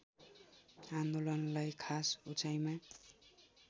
आन्दोलनलार्इ खास उचाइमा